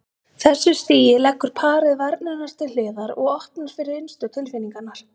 þessu stigi leggur parið varnirnar til hliðar og opnar fyrir innstu tilfinningarnar.